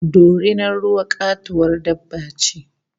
Dorinar ruwa katuwar dabba ce